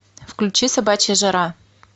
включи собачья жара